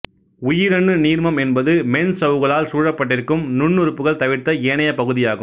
உயிரணு நீர்மம் என்பது மென்சவ்வுகளால் சூழப்பட்டிருக்கும் நுண்ணுறுப்புக்கள் தவிர்த்த ஏனைய பகுதியாகும்